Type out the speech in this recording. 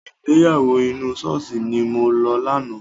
Ìgbéyàwó inú ṣọ́ọ̀ṣì ni mo lọ lánàá.